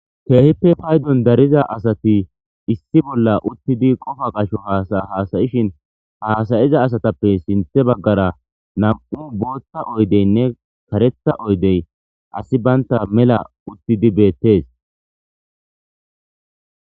keehippe paydon dariza asati issi bolla uttidi qofa qasho hasahasayishin haasayiza asatappe sinthe baggara nam7u bootta oydeynne karetha oydey asi baynta mela uttidi beettes